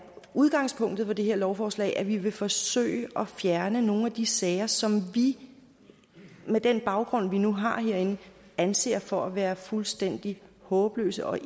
udgangspunktet for det her lovforslag altså at vi vil forsøge at fjerne nogle af de sager som vi med den baggrund vi nu har herinde anser for at være fuldstændig håbløse og